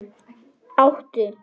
Áttu í nös?